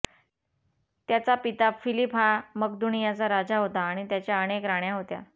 त्याचा पिता फिलीप हा मकदूनियाचा राजा होता आणि त्याच्या अनेक राण्या होत्या